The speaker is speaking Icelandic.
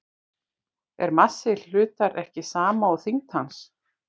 Er massi hlutar ekki sama og þyngd hans?